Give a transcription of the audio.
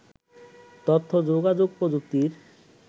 তথ্য ও যোগাযোগ প্রযুক্তির